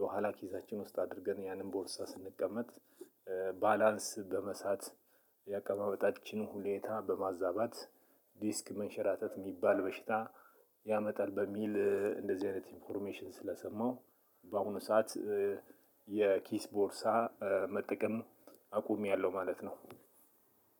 የኋላ ኪሳችን ውስጥ አድርገን ያንን ቦርሳ ስንቀመጥ ባላንስ በመሳት የአቀማበጣችን ሁሌታ በማዛባት ዲስክ መንሸራተት የሚባል በሽታ ያመጣል በሚል እንደዚህ አይነት ኢንፎርሜሽን ስለሰማው። በአሁኑ ሰዓት የኪስ ቦርሳ መጠቀም አቁሜያለሁ ማለት ነው።